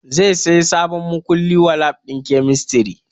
Zai saya sabon makulli wa lab ɗin kemistri